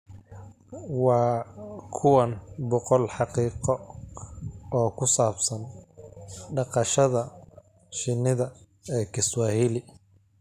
Waa kuwan boqol xaqiiqo oo ku saabsan dhaqashada shinnida ee Kiswahili: